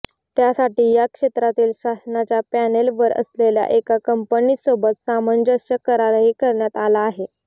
त्यासाठी या क्षेत्रातील शासनाच्या पॅनेलवर असलेल्या एका कंपनीसोबत सामंजस्य करारही करण्यात आला आहे